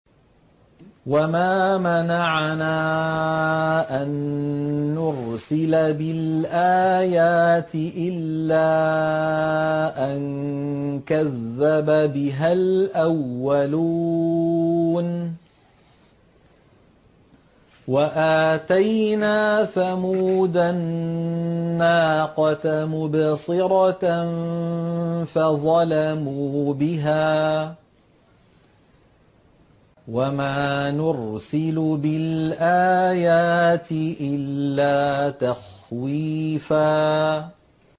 وَمَا مَنَعَنَا أَن نُّرْسِلَ بِالْآيَاتِ إِلَّا أَن كَذَّبَ بِهَا الْأَوَّلُونَ ۚ وَآتَيْنَا ثَمُودَ النَّاقَةَ مُبْصِرَةً فَظَلَمُوا بِهَا ۚ وَمَا نُرْسِلُ بِالْآيَاتِ إِلَّا تَخْوِيفًا